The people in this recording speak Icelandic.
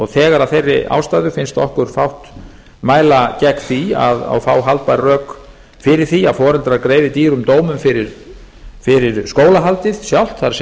þegar af þeirri ástæðu finnst okkur fátt mæla gegn því og fá haldbær rök fyrir því að foreldrar greiði dýrum dómum fyrir skólahaldið sjálft það